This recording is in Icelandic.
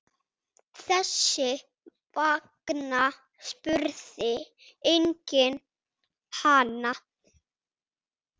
Þess vegna spurði enginn hana.